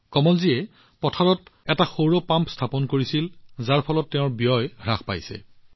কমলজীয়ে পথাৰত এটা সৌৰ পাম্প স্থাপন কৰিছিল যাৰ বাবে তেওঁৰ ব্যয় যথেষ্ট হ্ৰাস পাইছে